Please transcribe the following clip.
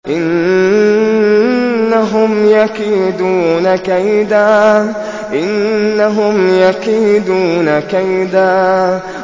إِنَّهُمْ يَكِيدُونَ كَيْدًا